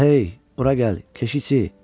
Və hey, bura gəl, keşikçi.